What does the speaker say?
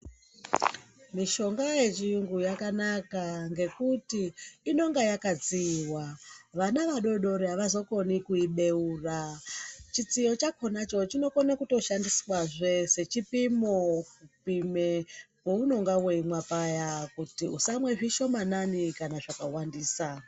Mishonga yechiyungu yakanaka ngekuti inonga yakatsiyiwa vana vadori dori havazokoni kuibeura chitsiyo chakona ichocho chinokone kuto shandiswazve sechipimo kupime pounenga weimwa paya kuti usamwe zvishomanane kana zvakawandisa .